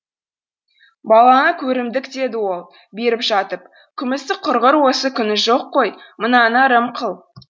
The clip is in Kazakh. балаңа көрімдік деді ол беріп жатып күмісі құрғыр осы күні жоқ қой мынаны ырым қыл